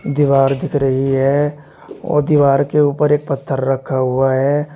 दीवार दिख रही है और दीवार के ऊपर एक पत्थर रखा हुआ है।